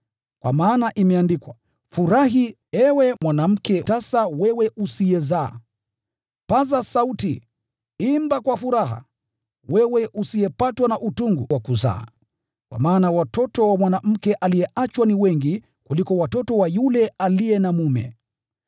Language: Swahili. Kwa maana imeandikwa: “Furahi, ewe mwanamke tasa, wewe usiyezaa; paza sauti, na kuimba kwa furaha, wewe usiyepatwa na utungu wa kuzaa; kwa maana watoto wa mwanamke aliyeachwa ukiwa ni wengi kuliko wa mwanamke mwenye mume.”